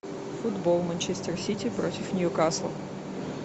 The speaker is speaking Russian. футбол манчестер сити против ньюкасл